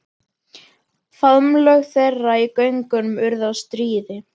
Faðmlög þeirra í göngunum urðu að stríði.